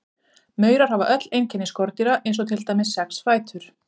Maurar hafa öll einkenni skordýra eins og til dæmis sex fætur.